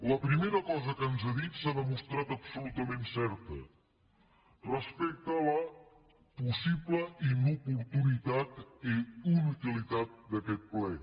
la primera cosa que ens ha dit s’ha demostrat absolutament certa respecte a la possible inoportunitat i inutilitat d’aquest ple